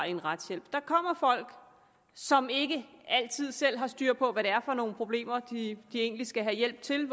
i en retshjælp der kommer folk som ikke altid selv har styr på hvad det er for nogle problemer de egentlig skal have hjælp til